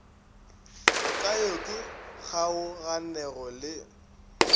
ka yo ke kgaoganego le